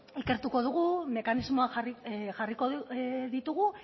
ikertuko dugu mekanismoak jarri jarriko ditugu